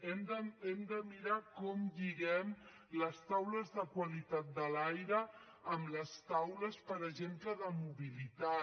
hem de mirar com lliguem les taules de qualitat de l’aire amb les taules per exemple de mobilitat